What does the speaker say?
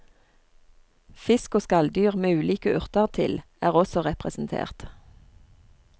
Fisk og skalldyr med ulike urter til er også representert.